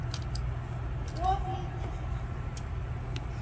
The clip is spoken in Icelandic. of lítið hjarta